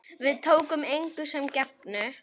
Við tókum engu sem gefnu.